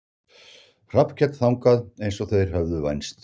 Hallkell þangað eins og þeir höfðu vænst.